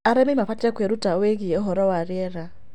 Arĩmĩ mabatĩe kwĩrũta kwĩgĩe ũhoro wa rĩera